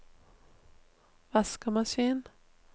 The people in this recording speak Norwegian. vaskemaskin